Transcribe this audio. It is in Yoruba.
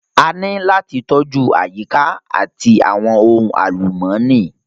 A ní láti tọ́jú àyíká àti àwọn ohun àlùmọ́ọ́nì